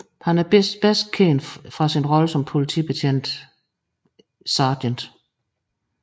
Han er bedst kendt fra sin rolle som politibetjent Sgt